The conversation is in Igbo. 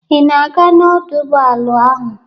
Ị na-aga n'ọdọ ụgbọala ahụ?